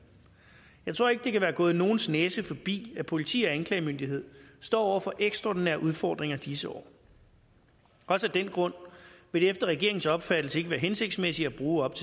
jeg tror ikke det kan være gået nogens næse forbi at politi og anklagemyndighed står over for ekstraordinære udfordringer i disse år også af den grund vil det efter regeringens opfattelse ikke være hensigtsmæssigt at bruge op